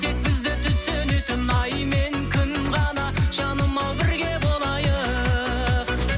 тек бізді түсінетін ай мен күн ғана жаным ау бірге болайық